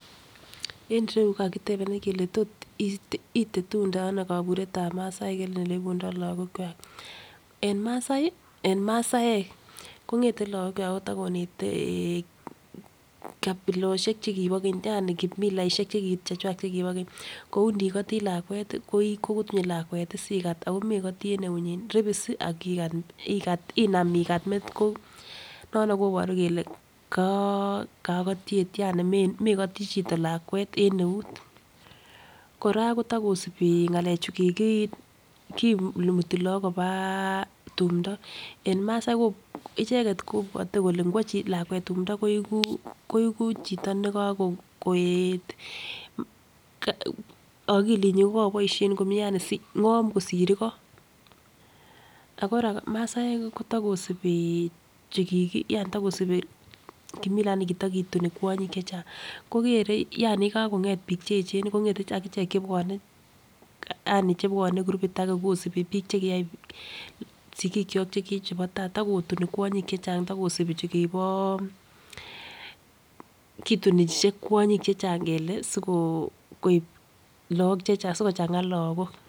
En irou kokakiteben kele tot itetundono koburetab masaek en oleibundo lokok kwak. En masii en masaek kongeten lokokwak kotokonete eh kapiloshek chekibo keny yani kimilaishek chekichechwak chekibo keny, kou ndikoti lakwet koi kokutunyi lakwet tii sikat ako nekotii en eunyin ribisi akikat inam ikat metit ko nono koboru kele ko kokotyet yani mokotin chito lakwet en uet. Koraa kotokosibi ngalek chu kiki kimuti Lok koba tumdo en masaek icheket kobwote kole igwo lakwet tumdo koiku chito nekokoet okilinyin ko koboishen komie yani ngom kosir igo. Ako masaek kotokosibi chuki yani tokosibi kimila nikitokituni kwonyin chechang, kokere yani yekakonget bik cheyechen akichek chebwonei yani chebwone korupit age kisip bik chekiyai sikikyok chekiyech chebo tai, tokotuni kwonyin chechang yokosibi chukibo kitunise kwonyik chechang kole sikoib Lok chechang sikochanga lokok.